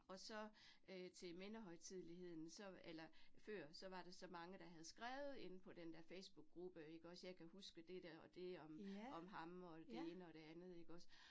Og så øh til mindehøjtidligheden, så eller før, så var der så mange, der havde skrevet inde på den der Facebookgruppe ikke også, jeg kan huske det der og det om om ham og det ene og det andet ikke også